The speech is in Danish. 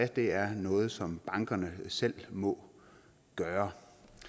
det er noget som bankerne selv må gøre